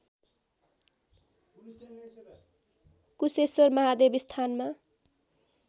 कुशेश्वर महादेव स्थानमा